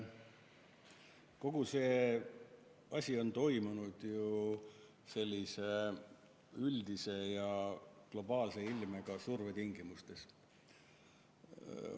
Kõik see on toimunud ju sellise üldise ja globaalse ilmega surve tingimustes.